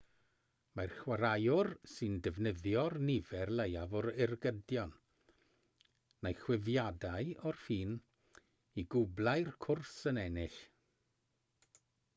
mae'r chwaraewr sy'n defnyddio'r nifer leiaf o ergydion neu chwifiadau o'r ffyn i gwblhau'r cwrs yn ennill